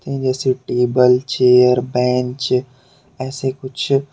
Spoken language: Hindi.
जैसे टेबल चेयर बेंच ऐसे कुछ--